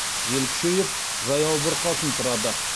жел күшейіп жаяу бұрқасын тұрады